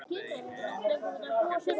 Og vannst spilið, ekki satt?